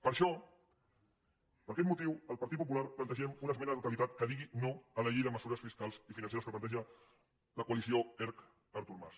per això per aquest motiu el partit popular plantegem una esmena a la totalitat que digui no a la llei de mesures fiscal i financeres que planteja la coalició erc artur mas